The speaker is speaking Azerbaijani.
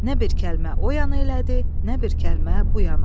Nə bir kəlmə o yana elədi, nə bir kəlmə bu yana.